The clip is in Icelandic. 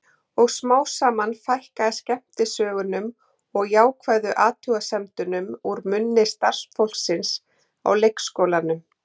Og smám saman fækkaði skemmtisögunum og jákvæðu athugasemdunum úr munni starfsfólksins á leikskólanum.